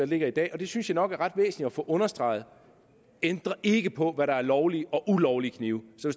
ligger i dag og det synes jeg nok er ret væsentligt at få understreget ændrer ikke på hvad der er lovlige og ulovlige knive så